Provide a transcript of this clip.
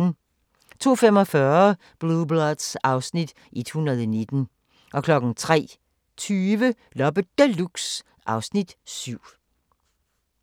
02:45: Blue Bloods (Afs. 119) 03:20: Loppe Deluxe (Afs. 7)